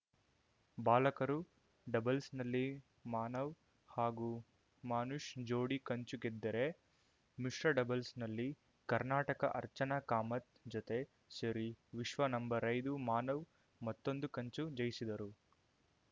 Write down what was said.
ಬಾಲಕರು ಡಬಲ್ಸ್‌ನಲ್ಲಿ ಮಾನವ್‌ ಹಾಗೂ ಮಾನುಷ್‌ ಜೋಡಿ ಕಂಚು ಗೆದ್ದರೆ ಮಿಶ್ರ ಡಬಲ್ಸ್‌ನಲ್ಲಿ ಕರ್ನಾಟಕ ಅರ್ಚನಾ ಕಾಮತ್‌ ಜೊತೆ ಸೇರಿ ವಿಶ್ವ ನಂಬರ್ಐದು ಮಾನವ್‌ ಮತ್ತೊಂದು ಕಂಚು ಜಯಿಸಿದರು